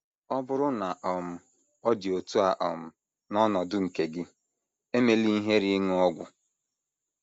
Ọ bụrụ na um ọ dị otú a um n’ọnọdụ nke gị, emela ihere ịṅụ ọgwụ.